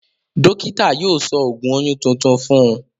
Dọ́kítà yóò sọ ògùn oyún tuntun fún un.